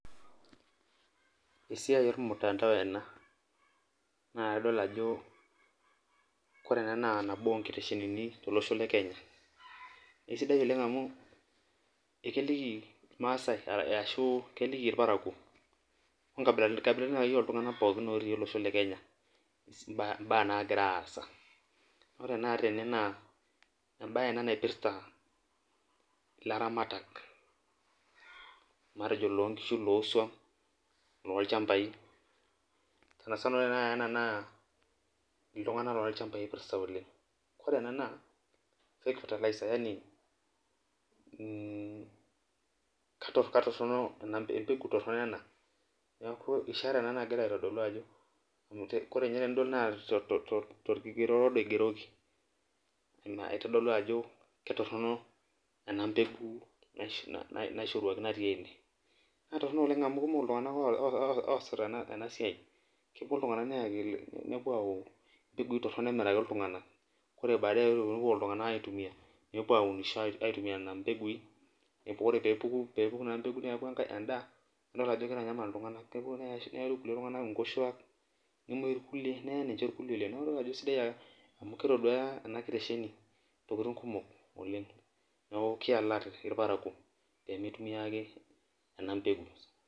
Esiai ormutandao ena na kadol ajo ore ena nabo onkiteshenini e kenya nakesidai ena amu ekeliki irparakuo onkabilatin natii olosho le kenya mbaa nagira aasa ore na tene na embae ena naipirta ilaramatak lonkishu lolchambai sanasana ltunganak lolchambai atorok embeku toronok ena ishara ena nagira aitodolu ajo kigero torangi odo ina itadolu ajo kitorok enapeku naishooyieki oasita enasia kepuo ltunganak nepuo ayau mpekui toronok amiraki ltunganak aitumia nona pekui neaku endaa neyau irkulie tunganak nkoshuak amu kitosduaya enakitesheni ntokitin kumok oleng pemitunia enapeku